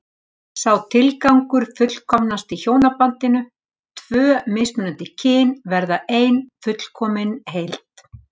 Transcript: Sá tilgangur fullkomnast í hjónabandinu, tvö mismunandi kyn verða ein fullkomin heild.